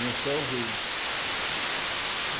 No céu, o rio.